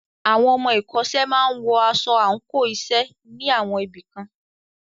Àwọn ọmọ ìkọ́ṣẹ́ máa wọ aṣọ àńkò iṣẹ́ ní àwọn ibì kan.